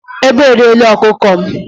Ègbé e riẹ̀la ọkụkọ m